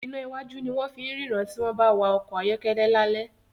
iná wájú ní wón fín ríran tí wón bá wá ọkọ̀ ayọ́kẹ́lẹ́ lale